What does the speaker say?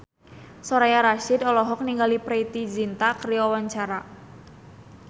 Soraya Rasyid olohok ningali Preity Zinta keur diwawancara